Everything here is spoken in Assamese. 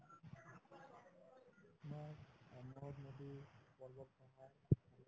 তোমাৰ নদী